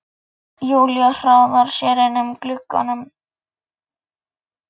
Júlía hraðar sér inn að glugganum.